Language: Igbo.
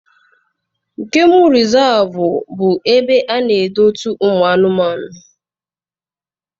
Gemu rịzaavụ bụ ebe ana edote ụmụ anụmanụ.